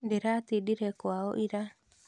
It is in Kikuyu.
Ndĩratindire kwao ira